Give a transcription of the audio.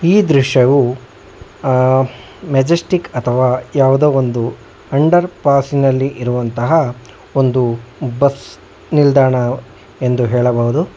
ಈ ದೃಶ್ಯವು ಅ ಮೆಜೆಸ್ಟಿಕ್ ಅಥವಾ ಯಾವುದೋ ಒಂದು ಅಂಡರ್ಪಾಸಿನಲ್ಲಿ ಇರುವಂತಹ ಒಂದು ಬಸ್ ನಿಲ್ದಾಣ ಎಂದು ಹೇಳಬಹುದು.